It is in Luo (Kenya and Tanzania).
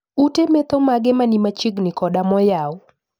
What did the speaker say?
Ute metho mage mani machiegni koda moyaw